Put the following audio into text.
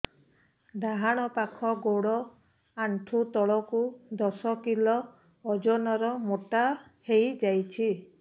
ଡାହାଣ ପାଖ ଗୋଡ଼ ଆଣ୍ଠୁ ତଳକୁ ଦଶ କିଲ ଓଜନ ର ମୋଟା ହେଇଯାଇଛି